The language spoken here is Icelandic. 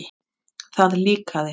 Það líkaði